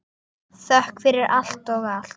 Þökk fyrir allt og allt.